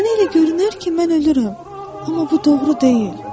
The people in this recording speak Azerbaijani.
Sənə elə görünər ki, mən ölürəm, amma bu doğru deyil.